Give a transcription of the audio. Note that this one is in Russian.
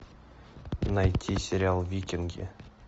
найти сериал викинги